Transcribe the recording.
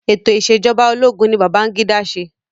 Ètò ìṣẹ̀jọba ológun ni Babangida ṣe.